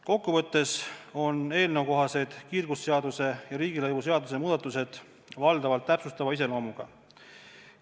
Kokku võttes on eelnõukohased kiirgusseaduse ja riigilõivuseaduse muudatused valdavalt täpsustava iseloomuga.